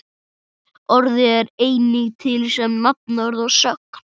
Orðið er einnig til sem nafnorð og sögn.